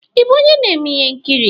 Ị bụ onye na-eme ihe nkiri?